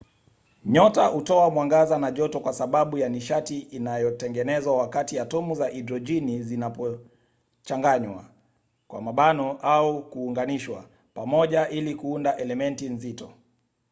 nyota hutoa mwangaza na joto kwa sababu ya nishati inayotengenezwa wakati atomu za hidrojeni zinapochanganywa au kuunganishwa pamoja ili kuunda elementi nzito